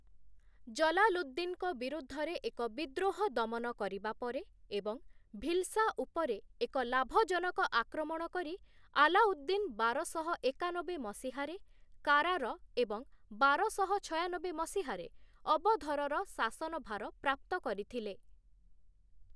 ଜଲାଲୁଦ୍ଦିନ୍‌ଙ୍କ ବିରୁଦ୍ଧରେ ଏକ ବିଦ୍ରୋହ ଦମନ କରିବା ପରେ ଏବଂ ଭିଲ୍‌ସା ଉପରେ ଏକ ଲାଭଜନକ ଆକ୍ରମଣ କରି ଆଲାଉଦ୍ଦିନ୍ ବାରଶହ ଏକାନବେ ମସିହାରେ 'କାରା'ର ଏବଂ ବାରଶହ ଛୟାନବେ ମସିହାରେ 'ଅବଧର'ର ଶାସନଭାର ପ୍ରାପ୍ତ କରିଥିଲେ ।